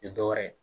Tɛ dɔ wɛrɛ ye